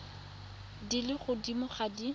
di le godimo ga di